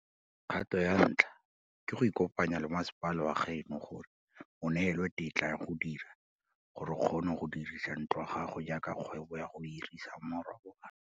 Kgato ya ntlha ke go ikopanya le masepala wa gaeno gore o neelwe tetla ya go dira gore o kgone go dirisa ntlo ya gago jaaka kgwebo ya go hirisa marobalo.